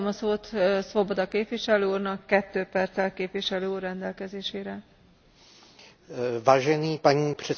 Paní předsedající, dovolte mi jednu aktualitu k tomu, jak se uvolňuje situace v Bělorusku.